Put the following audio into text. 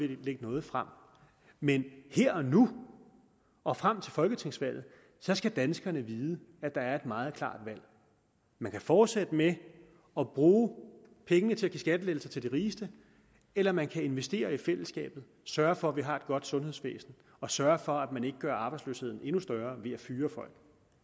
lægge noget frem men her og nu og frem til folketingsvalget skal danskerne vide at der er et meget klart valg man kan fortsætte med at bruge pengene til at give skattelettelser til de rigeste eller man kan investere i fællesskabet og sørge for at vi har et godt sundhedsvæsen og sørge for at man ikke gør arbejdsløsheden endnu større ved at fyre folk